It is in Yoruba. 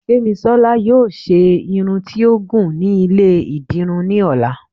Gbemísola yóò ṣe Irún tí ó gún ní ilé- idirún ní olà